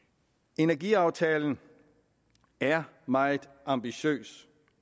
energiaftalen er meget ambitiøs